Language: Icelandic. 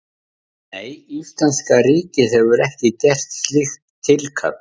Nei, íslenska ríkið hefur ekki gert slíkt tilkall.